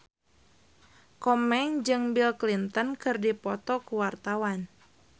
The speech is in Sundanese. Komeng jeung Bill Clinton keur dipoto ku wartawan